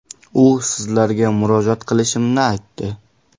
U sizlarga murojaat qilishimni aytdi.